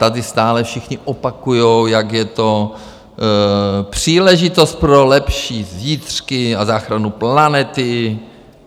Tady stále všichni opakují, jak je to příležitost pro lepší zítřky a záchranu planety.